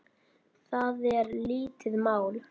Það er lítið mál.